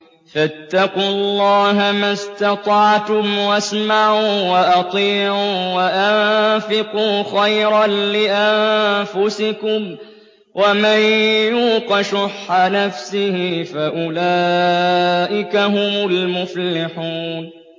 فَاتَّقُوا اللَّهَ مَا اسْتَطَعْتُمْ وَاسْمَعُوا وَأَطِيعُوا وَأَنفِقُوا خَيْرًا لِّأَنفُسِكُمْ ۗ وَمَن يُوقَ شُحَّ نَفْسِهِ فَأُولَٰئِكَ هُمُ الْمُفْلِحُونَ